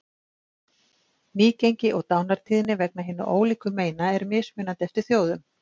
Nýgengi og dánartíðni vegna hinna ólíku meina er mismunandi eftir þjóðum.